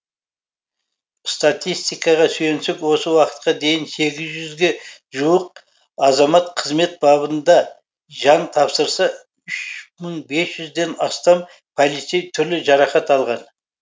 статистикаға сүйенсек осы уақытқа дейін сегіз жүзге жуық азамат қызмет бабында жан тапсырса үш мың бес жүзден астам полицей түрлі жарақат алған